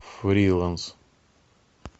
фриланс